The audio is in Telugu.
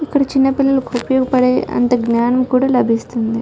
ఇక్కడ చిన్న పిల్లలకు ఉపయోగపడే అంత జ్ఞానం కూడా లభిస్తుంది.